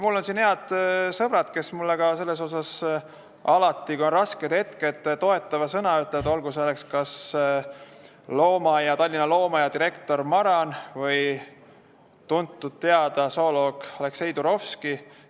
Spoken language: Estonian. Mul on head sõbrad, kes mulle selles asjas alati, ka raskel hetkel, toetava sõna ütlevad, olgu see kas Tallinna Loomaaia direktor Maran või tuntud-teada zooloog Aleksei Turovski.